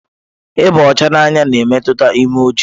Ịba ọcha n'anya na-emetụta imeju.